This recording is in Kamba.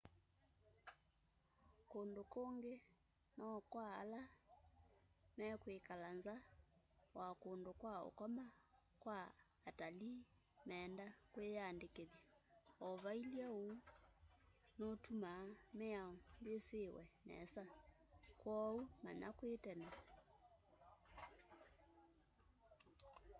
kundu kungi no kwa la mekwikala nza wa kundu kwa ukoma kwa atalii meenda kwiyandikithya o vailye uu uu nutumaa miao yisiwe nesa kwoou manya kwi tene